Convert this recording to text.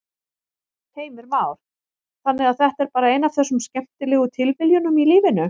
Heimir Már: Þannig að þetta er bara ein af þessum skemmtilegu tilviljunum í lífinu?